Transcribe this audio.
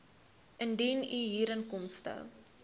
indien u huurinkomste